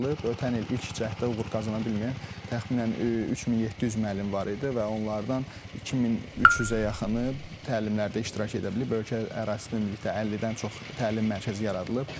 Ötən il ilk cəhdə uğur qazana bilməyən təxminən 3700 müəllim var idi və onlardan 2300-ə yaxını təlimlərdə iştirak edə bilib, ölkə ərazisində ümumilikdə 50-dən çox təlim mərkəzi yaradılıb.